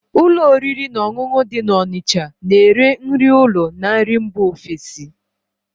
Ụlọ oriri na ọṅụṅụ dị na Onicha na ere nri ụlọ na nri mba ofesi